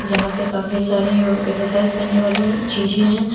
यहां पे काफी सारे यो एक्सरसाइज करने वाले चीजें हैं।